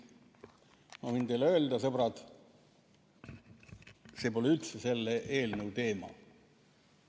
Ma võin teile öelda, sõbrad, see pole üldse selle eelnõu teema.